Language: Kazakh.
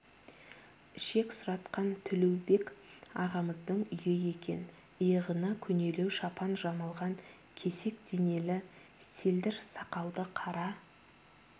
ішек сұратқан төлеубек ағайымыздың үйі екен иығына көнелеу шапан жамылған кесек денелі селдір сақалды қара